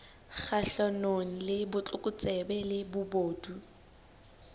kgahlanong le botlokotsebe le bobodu